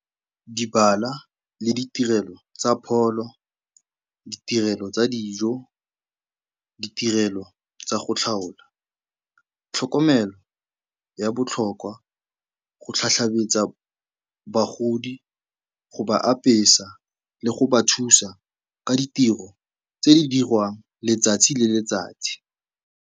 le ditirelo tsa pholo, ditirelo tsa dijo, ditirelo tsa go tlhaola, tlhokomelo ya botlhokwa, go bagodi, go ba apesa le go ba thusa ka ditiro tse di dirwang letsatsi le letsatsi.